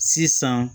Sisan